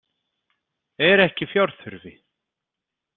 Er ekki fjárþurfi.